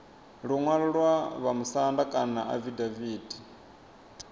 luṅwalo lwa vhamusanda kana afidaviti